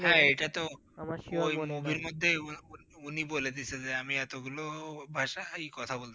হা এটা তো ওই Movie র মধ্যে উনি বলে দিসেন যে আমি এতগুলো ভাষা হাই কথা বলতে পারি।